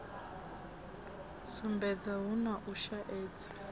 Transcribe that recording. sumbedza hu na u shaedza